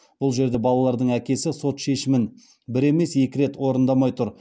бұл жерде балалардың әкесі сот шешімін бір емес екі рет орындамай тұр